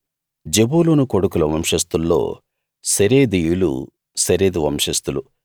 జెబూలూను కొడుకుల వంశస్థుల్లో సెరెదీయులు సెరెదు వంశస్థులు